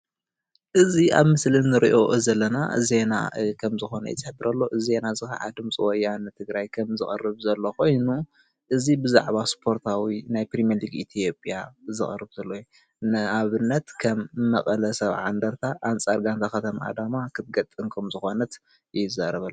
እዚ ኣብ ምስሊ ንሪኦ ዘለና ዜና ከም ዝኮነ እዩ ዝሕብር ዘሎ. እዚ ዜና ከዓ ድምፂ ወያነ ትግራይ ከም ዝቀርብ ዘሎ ኮይኑ እዚ ብዛዕባ ስፖርታዊ ናይ ፕሪምየርሊግ ኢትዮጵያ ዘቅርብ ዘሎ እዩ ::ንኣብነት ከም መቀለ ሰብዓ እንደርታ ኣንፃር ጋንታ ከተማ ኣዳማ ክትገጥም ከምዝኮነት እዩ ዝዛረብ ዘሎ።